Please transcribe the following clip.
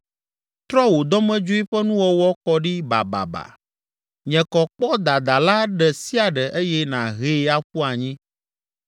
Trɔ wò dɔmedzoe ƒe nuwɔwɔ kɔ ɖi bababa, nye kɔ kpɔ dadala ɖe sia ɖe eye nàhee aƒu anyi.